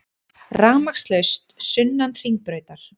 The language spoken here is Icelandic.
Rafmagnslaust sunnan Hringbrautar